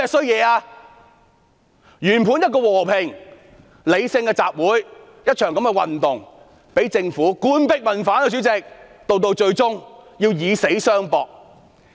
原本是和平理性的集會和運動，被政府搞得官逼民反，主席，市民最後才會以死相搏。